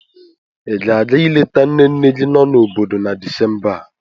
Ị ga-aga ileta nne nne gị nọ n'obodo na Disemba a?